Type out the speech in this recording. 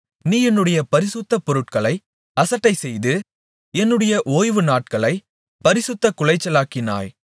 நீ என்னுடைய பரிசுத்த பொருட்களை அசட்டைசெய்து என்னுடைய ஓய்வு நாட்களை பரிசுத்தக்குலைச்சலாக்கினாய்